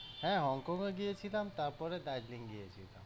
হ্যাঁ, HongKong ও গিয়েছিলাম তারপরে দার্জিলিং গিয়েছিলাম।